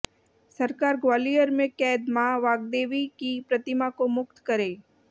सरकार ग्वालियर में कैद माँ वाग्देवी की प्रतिमा को मुक्त करे